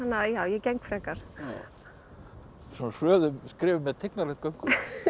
að já ég geng frekar svona hröðum skrefum með tignarlegt göngulag